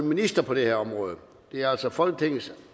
minister på dette område det er altså folketingets